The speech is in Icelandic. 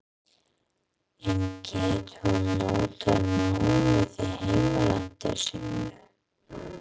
En getur hún notað námið í heimalandi sínu?